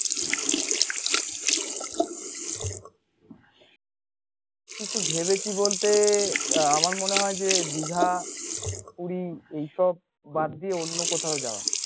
কিছু ভেবেছি বলতে আমার মনে হয় যে দীঘা পুরী এইসব বাদ দিয়ে অন্য কোথাও যাওয়া